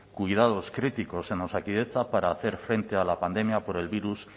cuidados críticos en osakidetza para hacer frente a la pandemia por el virus